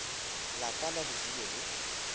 la ka la bodulo le